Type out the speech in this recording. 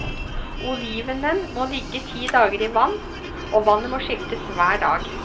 Olivenen må ligge ti dager i vann, og vannet må skiftes hver dag.